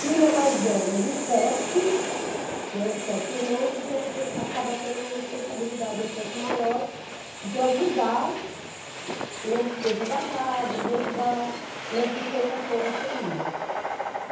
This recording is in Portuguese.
Filha mais velha de sete, né, de sete irmãos, então você acaba tendo uma responsabilidade um pouco maior de ajudar na despesa da casa, de ajudar na sustentação da família.